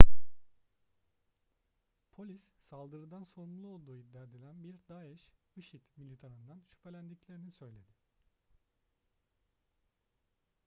polis saldırıdan sorumlu olduğu iddia edilen bir daeş işi̇d militanından şüphelendiklerini söyledi